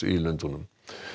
í Lundúnum